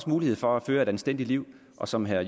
mulighed for at føre et anstændigt liv og som herre